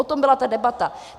O tom byla ta debata.